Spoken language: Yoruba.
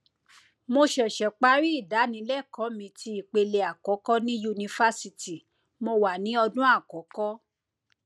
mo ṣẹṣẹ parí ìdánilẹkọọ mi ti ipele àkọkọ ní yunifásítì mo wà ní ọdún àkọkọ